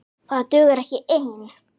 Það dugar ekki ein!